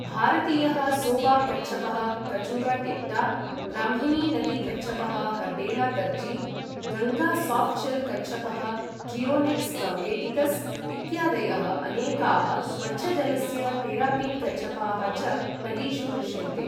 भारतीयः सोबाक् कच्छपः कचुगा टेक्टा , ब्राह्मिणी नदी कच्छपः हर्डेला तर्जी , गङ्गा साफ्ट्शेल् कच्छपः ट्रियोनिक्स् गाङ्गेटिकस् इत्यादयः अनेकाः स्वच्छजलस्य टेरापिन् कच्छपाः च नदीषु दृश्यन्ते।